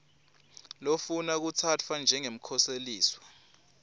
lofuna kutsatfwa njengemkhoseliswa